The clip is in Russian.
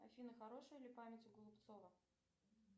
афина хорошая ли память у голубцова